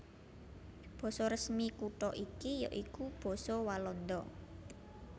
Basa resmi kutha iki ya iku basa Walanda